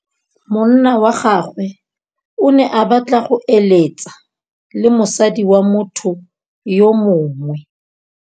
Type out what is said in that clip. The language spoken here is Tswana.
Monna wa gagwe o ne a batla go êlêtsa le mosadi wa motho yo mongwe.